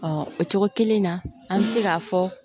o cogo kelen na an bɛ se k'a fɔ